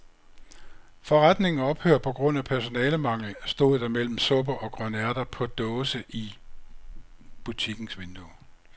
Forretningen ophører på grund af personalemangel, stod der mellem supper og grønærter på dåse i butikkens vindue.